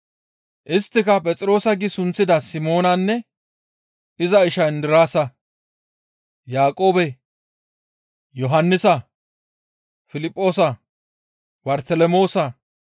Isttika Phexroosa giidi sunththida Simoonanne iza isha Indiraasa, Yaaqoobe, Yohannisa, Piliphoosa, Bartelemoosa,